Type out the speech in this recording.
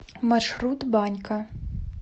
маршрут банька